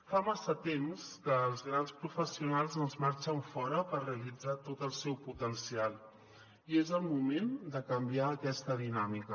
fa massa temps que els grans professionals doncs marxen fora per realitzar tot el seu potencial i és el moment de canviar aquesta dinàmica